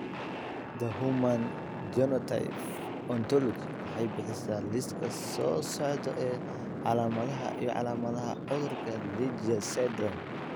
The Human Phenotype Ontology waxay bixisaa liiska soo socda ee calaamadaha iyo calaamadaha cudurka Legius syndrome.